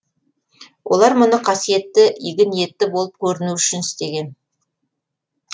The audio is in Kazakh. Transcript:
олар мұны қасиетті игі ниетті болып көрінуі үшін істеген